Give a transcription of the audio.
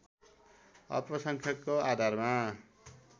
अल्पसंख्यकको आधारमा